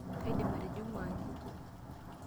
Kaidim atijing'u aji.